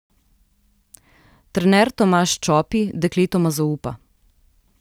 Trener Tomaž Čopi dekletoma zaupa.